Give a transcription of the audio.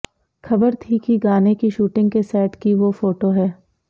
खबर थी कि गाने की शूटिंग के सेट की वो फोटो है